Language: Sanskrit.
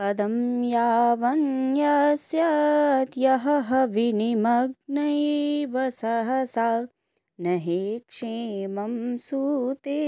पदं यावन्नयस्यत्यहह विनिमग्नैव सहसा नहि क्षेमं सूते